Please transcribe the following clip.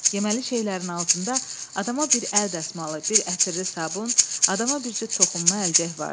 Yeməli şeylərin altında adama bir əl dəsmalı, bir ətirli sabun, adama bir cüt toxunma əlcək vardı.